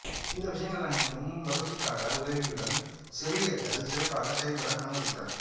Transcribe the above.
இந்த விஷயங்கள் அனைத்தும் வசதிக்காக உதவியதுடன் செவிலியர்கள் சிறப்பாக செயல்பட அனுமதித்தன